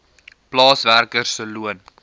plaaswerker se loon